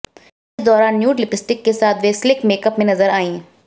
इस दौरान nude lipstick के साथ वे स्लीक मेकअप में नजर आईं